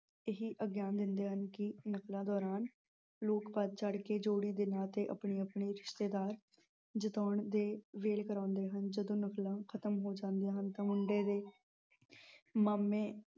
ਇਹੀ ਦਿੰਦੇ ਹਨ ਕਿ ਨਕਲਾਂ ਦੌਰਾਨ ਲੋਕ ਵਧ ਚੜ ਕੇ ਜੋੜੀ ਤੇ ਆਪਣੇ-ਆਪਣੇ ਰਿਸ਼ਤੇਦਾਰ ਜਿਤਾਉਣ ਦੇ ਵੇਲ ਕਰਾਉਂਦੇ ਹਨ ਜਦੋਂ ਨਕਲਾਂ ਖਤਮ ਹੋ ਜਾਂਦੀਆਂ ਹਨ ਤਾਂ ਮੁੰਡੇ ਦੇ ਮਾਮੇ